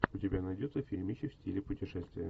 у тебя найдется фильмище в стиле путешествия